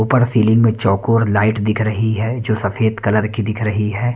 ऊपर सीलिंग में चौकोर लाइट दिख रही है जो सफेद कलर की दिख रही है।